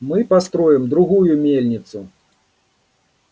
мы построим другую мельницу